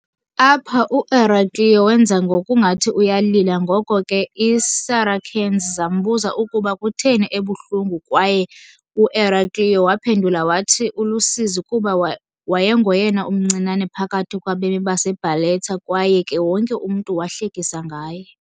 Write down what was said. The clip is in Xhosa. Apha u-Eraclio wenza ngokungathi uyalila ngoko ke iiSaracens zambuza ukuba kutheni ebuhlungu kwaye u-Eraclio waphendula wathi ulusizi kuba wayengoyena umncinane phakathi kwabemi baseBarletta kwaye ke wonke umntu wahlekisa ngaye.